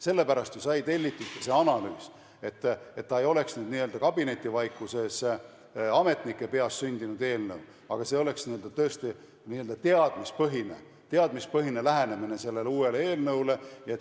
Sellepärast saigi ju tellitud ka see analüüs, et ei tuleks n-ö kabinetivaikuses ja ametnike peas sündinud eelnõu, vaid oleks tõesti teadmispõhine lähenemine sellele uuele eelnõule.